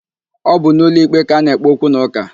Ọ bụ n'ụlọikpe ka ana-ekpe okwunaụka.